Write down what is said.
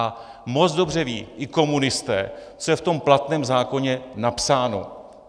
A moc dobře vědí i komunisté, co je v tom platném zákoně napsáno.